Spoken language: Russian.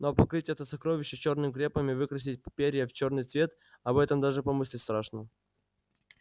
но покрыть это сокровище чёрным крепом и выкрасить перья в чёрный цвет об этом даже помыслить страшно